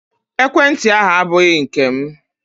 Ekwenti ahụ abụghị nke m